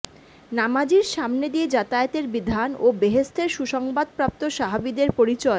নামাজীর সামনে দিয়ে যাতায়াতের বিধান ও বেহেশতের সুসংবাদপ্রাপ্ত সাহাবিদের পরিচয়